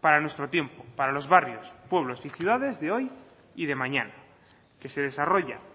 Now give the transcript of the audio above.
para nuestro tiempo para los barrios pueblos y ciudades de hoy y de mañana que se desarrolla